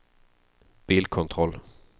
bilkontroll